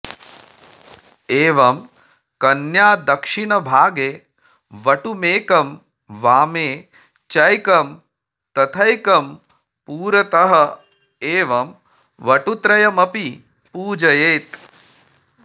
एवं कन्यादक्षिणभागे वटुमेकं वामे चैकं तथैकं पुरतः एवं वटुत्रयमपि पूजयेत्